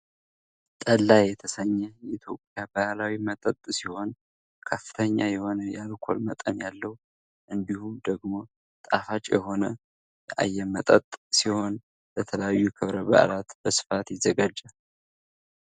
ጠላ የተሰኘ የኢትዮጵያ ባህላዊ መጠጥ ሲሆን። ከፍተኛ የሆነ የአልኮል መጠን ያለው እንዲሁም ደግሞ ጣፋጭ የሆነ አየመጠጥ ሲሆን ። ለተለያዩ ክብረ በዓላት በስፋት ይዘጋጃል።